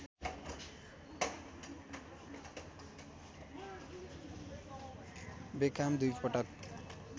Beckham दुई पटक